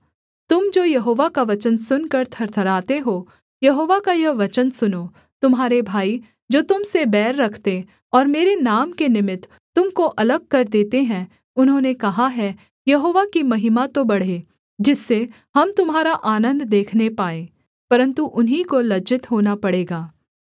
तुम जो यहोवा का वचन सुनकर थरथराते हो यहोवा का यह वचन सुनो तुम्हारे भाई जो तुम से बैर रखते और मेरे नाम के निमित्त तुम को अलग कर देते हैं उन्होंने कहा है यहोवा की महिमा तो बढ़े जिससे हम तुम्हारा आनन्द देखने पाएँ परन्तु उन्हीं को लज्जित होना पड़ेगा